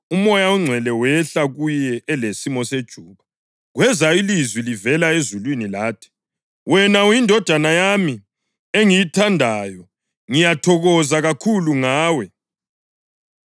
uMoya oNgcwele wehlela kuye elesimo sejuba. Kweza ilizwi livela ezulwini lathi: “Wena uyiNdodana yami engiyithandayo; ngiyathokoza kakhulu ngawe.”